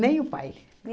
o pai.